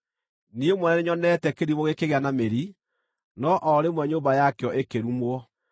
Niĩ mwene nĩnyonete kĩrimũ gĩkĩgĩa na mĩri, no-o rĩmwe nyũmba yakĩo ĩkĩrumwo.